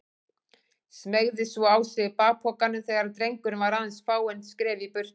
Smeygði svo á sig bakpokanum þegar drengurinn var aðeins fáein skref í burtu.